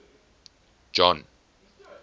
john